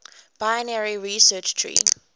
binary search tree